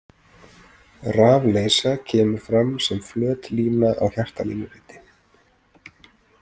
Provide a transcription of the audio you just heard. Rafleysa kemur fram sem flöt lína á hjartalínuriti.